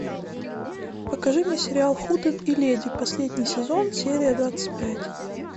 покажи мне сериал хутен и леди последний сезон серия двадцать пять